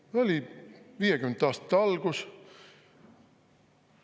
Oli 1950. aastate algus.